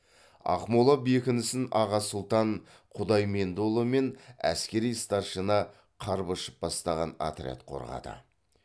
ақмола бекінісін аға сұлтан құдаймендіұлы мен әскери старшина карбышев бастаған отряд қорғады